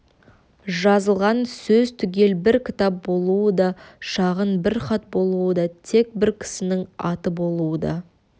жазылған сөз түгел бір кітап болуы да шағын бір хат болуы да тек бір кісінің аты болуы да